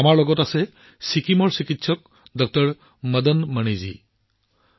আমাৰ লগত ছিকিমৰ ড০ মদন মণিজী আছে